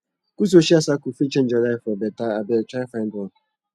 good social circle fit change your life for beta abeg try find one